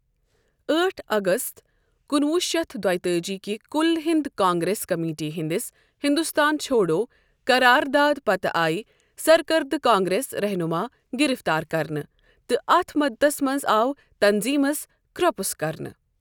أٹھ اگست کُنہ وُہ شتھ دۄتأجی كِہ كٗل ہِند کانگریس کمیٹی ہندِس ہندوستان چھوڑو قراردادٕ پتہٕ آیہِ سركردٕ كانگریس رہنٗما گِرفتار كرنہٕ تہٕ اتھ مٗدتس منز آو تنظیمس كر٘پٗس كرنہٕ ۔